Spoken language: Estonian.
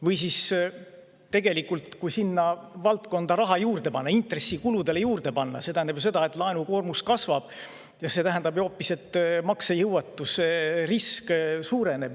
Või tegelikult, kui sinna valdkonda raha juurde panna, intressikuludele raha juurde panna, siis see tähendab ju seda, et laenukoormus kasvab, ja see omakorda tähendab hoopis, et maksejõuetuse risk suureneb.